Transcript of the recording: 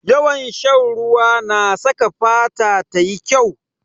Yawan shan ruwa na saka fata tayi kyau.